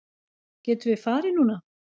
Getum við farið núna?